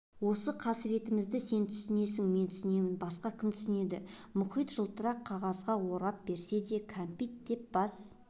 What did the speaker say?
осы қасыретімізді сен түсінесің мен түсінемін басқа кім түсінеді мұхит жылтырақ қағазға орап берсе де кәмпит деп бас